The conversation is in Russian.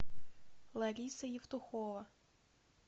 лариса евтухова